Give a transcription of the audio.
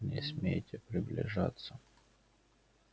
не смейте приближаться